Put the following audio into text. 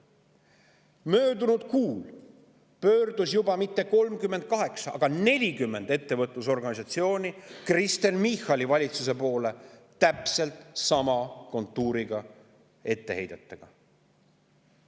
Möödunud kuul ei pöördunud mitte 38, vaid juba 40 ettevõtlusorganisatsiooni Kristen Michali valitsuse poole täpselt sama kontuuriga etteheidetega.